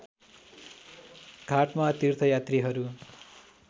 घाटमा तीर्थयात्रीहरू